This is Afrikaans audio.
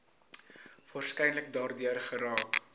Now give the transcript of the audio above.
waarskynlik daardeur geraak